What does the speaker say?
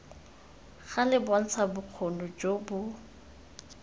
gale bontsha bokgoni jo bo